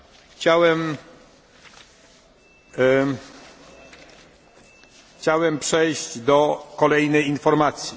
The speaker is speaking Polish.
Chciałem przejść do kolejnej informacji.